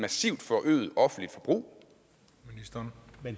offentlige forbrug